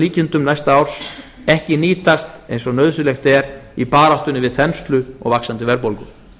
að öllum líkindum ekki nýtast eins og nauðsynlegt er í baráttunni við þenslu og vaxandi verðbólgu